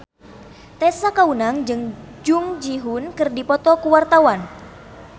Tessa Kaunang jeung Jung Ji Hoon keur dipoto ku wartawan